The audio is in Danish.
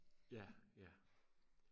ja ja